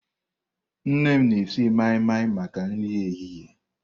Nne m na-esi mai-mai maka nri ehihie.